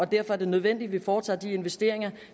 derfor er nødvendigt at foretage de investeringer